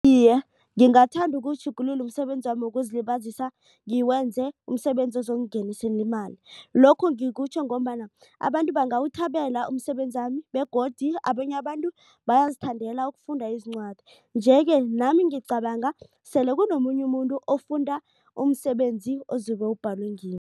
Iye, ngingathanda ukuwutjhugulula umsebenzami wokuzilibazisa ngiwenze umsebenzi ozongingenisela imali. Lokhu ngikutjho ngombana abantu bangawuthabela umsebenzami begodu abanye abantu bayazithandela ukufunda izincwadi. Nje-ke nami ngicabanga sele kunomunye umuntu ofunda umsebenzi ozobe ubhalwe ngimi.